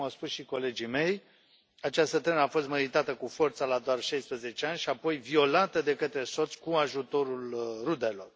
Așa cum au spus și colegii mei, această tânără a fost măritată cu forța la doar 16 ani și apoi violată de către soț cu ajutorul rudelor.